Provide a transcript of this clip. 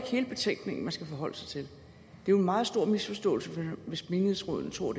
hele betænkningen man skal forholde sig til det er en meget stor misforståelse hvis menighedsrådene tror